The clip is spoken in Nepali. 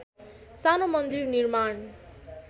सानो मन्दिर निर्माण